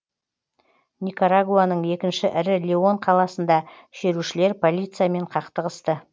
никарагуаның екінші ірі леон қаласында шерушілер полициямен қақтығысты